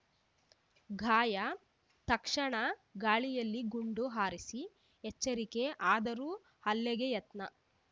ಗಾಯ ತಕ್ಷಣ ಗಾಳಿಯಲ್ಲಿ ಗುಂಡು ಹಾರಿಸಿ ಎಚ್ಚರಿಕೆ ಆದರೂ ಹಲ್ಲೆಗೆ ಯತ್ನ